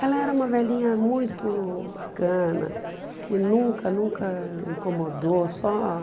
Ela era uma velhinha muito bacana, que nunca, nunca me incomodou. Só